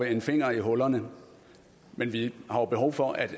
en finger i hullerne men vi har behov for at